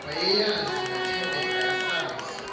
wayeyazi nothembeka esazi